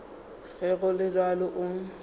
ge go le bjalo o